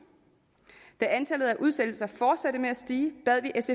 da antallet af udsættelser fortsatte med at stige bad